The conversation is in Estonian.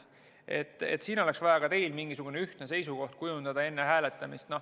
Siin oleks vaja ka teil enne hääletamist mingisugune ühtne seisukoht kujundada.